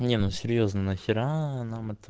не ну серьёзно нахера нам это